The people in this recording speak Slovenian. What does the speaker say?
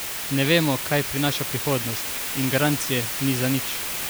Ne vemo, kaj prinaša prihodnost, in garancije ni za nič!